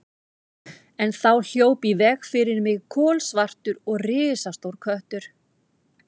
En þá hljóp í veg fyrir mig kolsvartur og risastór köttur.